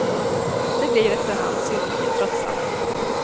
Det blir efter hand synnerligen tröttsamt.